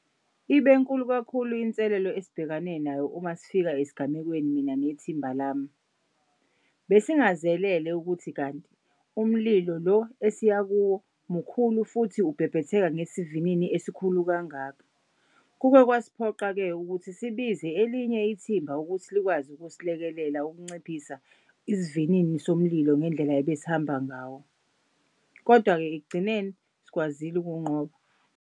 Ibenkulu kakhulu inselelo esibhekane nayo umasifika esigamekweni mina nethimba lami. Besingazelele ukuthi kanti umlilo lo esiya kuwo mkhulu futhi ubhebhetheka ngesivinini esikhulu kangaka. Kuke kwasiphoqa-ke ukuthi sibize elinye ithimba ukuthi likwazi kusilekelela ukunciphisa isivinini somlilo ngendlela ebesihamba ngawo, kodwa-ke ekugcineni sikwazile ukuwunqoba.